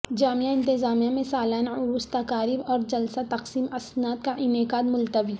جامعہ نظامیہ میں سالانہ عرس تقاریب اور جلسہ تقسیم اسناد کا انعقاد ملتوی